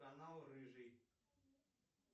канал рыжий